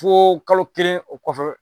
Fo kalo kelen o kɔfɛ.